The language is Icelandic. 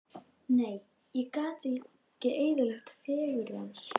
Nei, ég gat ekki eyðilagt fegurð hans.